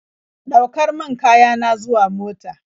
Ɗaukar min kaya na zuwa mota.